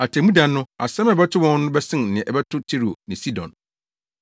Atemmuda no, asɛm a ɛbɛto wɔn no bɛsen nea ɛbɛto Tiro ne Sidon!